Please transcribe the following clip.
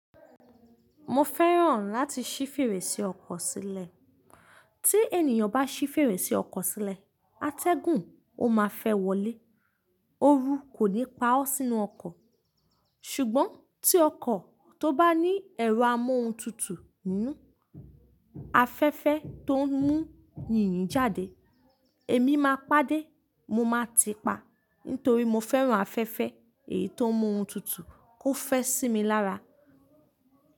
Mo fẹ́ràn láti ṣí fèrèsé ọkọ̀ sílẹ̀. Tí ènìyàn bá ṣí fèrèsé ọkọ̀ sílẹ̀, atẹ́gùn ó máa fẹ́ wọlé, òru kò ní pa ọ́ sínú ọkọ̀. Ṣùgbọ́n tí ọkọ̀ tó bá ní ẹ̀rọ amóhuntutù inú, afẹ́fẹ́ tó ń mú yìnyín jáde, èmi máa pàdé, mo máa ti pa, nítorí mo fẹ́ràn afẹ́fẹ́ èyí tó ń mú ohun tutù kó fẹ́ sí mi lára.